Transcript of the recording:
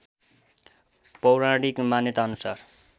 पौराणिक मान्यताअनुसार